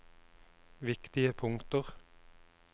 viktige punkter